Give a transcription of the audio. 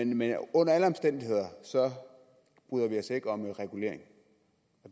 men under alle omstændigheder bryder vi os ikke om regulering